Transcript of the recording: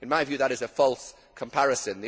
In my view, that is a false comparison.